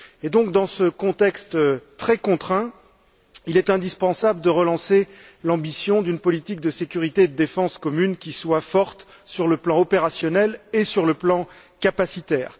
Donc, dans ce contexte très contraint, il est indispensable de relancer l'ambition d'une politique de sécurité et de défense commune qui soit forte sur les plans opérationnel et capacitaire.